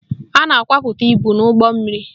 A na-akwapụta ibu n'ọdọụgbọmmiri